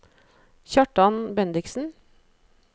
Kjartan Bendiksen